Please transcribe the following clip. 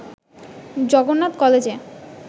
জগন্নাথ কলেজে